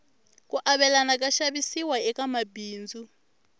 ku avelana ka xavisiwa eka mabindzu